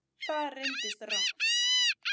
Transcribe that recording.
Það reyndist rangt